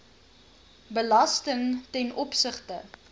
belasting ten opsigte